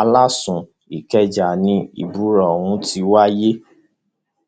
aláàsù ikeja ni ìbúra ọhún ti wáyé